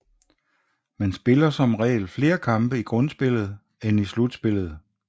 Man spiller som regel flere kampe i grundspillet end i slutspillet